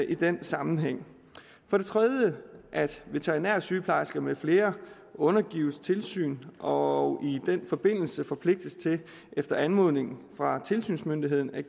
i den sammenhæng for det tredje at veterinærsygeplejersker med flere undergives tilsyn og i den forbindelse forpligtes til efter anmodning fra tilsynsmyndigheden at